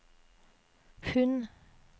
pund